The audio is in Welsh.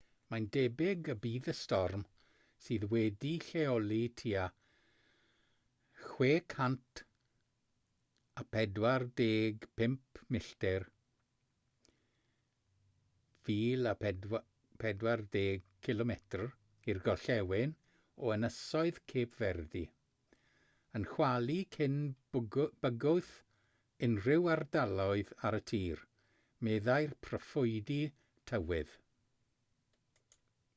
mae'n debyg y bydd y storm sydd wedi'i lleoli tua 645 milltir 1040 km i'r gorllewin o ynysoedd cape verde yn chwalu cyn bygwth unrhyw ardaloedd ar y tir meddai'r proffwydi tywydd